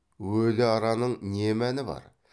өлі араның не мәні бар